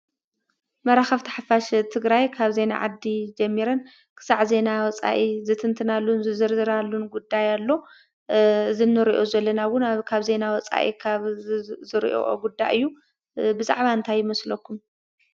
መራከብቲ ሓፋሽ ትግራይ ካብ ዜና ዓዲ ጀሚረን ክሳብ ዜና ወፃኢ ዝትንትናሉ ዝዝርዝራሉን ጉዳይ ኣሎ። እዚ እንሪኦ ዘለና እውን ካብ ዜና ውፃኢ ካብ ዝሪእኦ ጉዳይ እዩ። ብዛዕባ እንታይ ይመስለኩም?